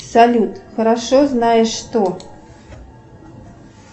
салют хорошо знаешь что